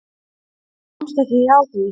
Hún komst ekki hjá því.